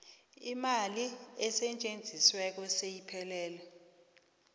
imali esetjenzisiweko seyiphelele